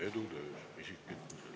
Edu töös ja isiklikus elus!